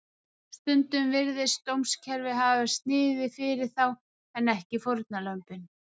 Stundum virðist dómskerfið hafa verið sniðið fyrir þá en ekki fórnarlömbin.